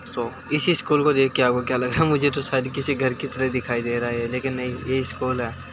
दोस्तों इस स्कूल को देखकर आपको क्या लग रहा है मुझे तो यह शायद किसी घर की तरह दिखाई दे रहा है लेकिन नहीं यह स्कूल है।